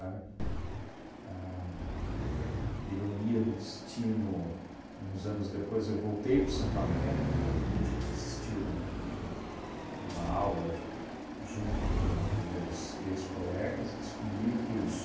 A ironia do destino, uns anos depois, eu voltei para o Santo Américo, pedi para assistir um uma aula j junto com os meus ex-colegas e descobri que os...